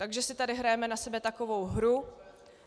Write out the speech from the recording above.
Takže si tady hrajeme na sebe takovou hru.